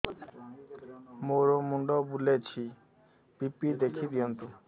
ମୋର ମୁଣ୍ଡ ବୁଲେଛି ବି.ପି ଦେଖି ଦିଅନ୍ତୁ